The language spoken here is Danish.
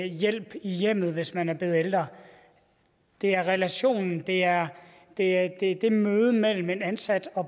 hjælp i hjemmet hvis man er blevet ældre det er i relationen det er er i mødet mellem den ansatte og